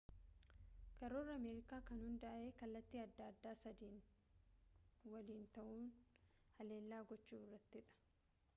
karoorri ameerikaa kan hundaa'e kallattii adda addaa sadiin waliin ta'uun haleellaa gochuu irratti dha